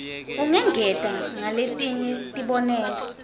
ungengeta ngaletinye tibonelo